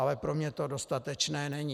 Ale pro mě to dostatečné není.